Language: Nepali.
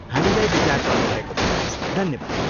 हामीलाई विचार गर्नुभएकोमा धन्यवाद।